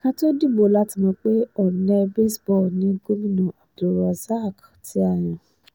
ká tóó dìbò la ti mọ̀ pé ọ̀nẹ́ baseball ni gómìnà abdulrozak tá a yàn